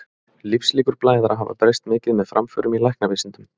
Lífslíkur blæðara hafa breyst mikið með framförum í læknavísindum.